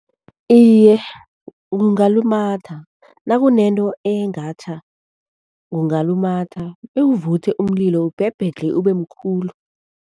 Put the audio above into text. Iye, ungalumatha. Nakunento engatjha kungalumatha bewuvuthwe umlilo, ubhebhedlhe ube mkhulu.